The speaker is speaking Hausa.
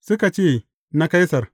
Suka ce, Na Kaisar.